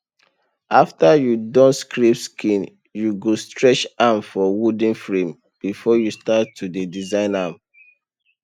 after you don scrape skin you go stretch am for wooden frame before you start to dey design am